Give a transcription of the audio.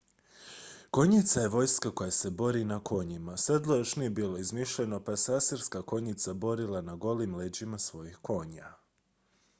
konjica je vojska koja se bori na konjima sedlo još nije bilo izmišljeno pa se asirska konjica borila na golim leđima svojih konja